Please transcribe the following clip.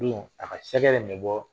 a ka min bɔ